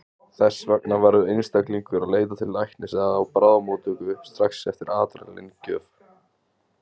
Þess vegna verður einstaklingur að leita til læknis eða á bráðamóttöku strax eftir adrenalín-gjöf.